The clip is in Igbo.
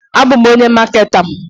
Abu m onye maketa.